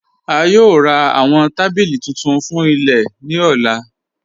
A yòò rá awọn tabílí tuntun fún ilẹ̀ ni ọ̀là.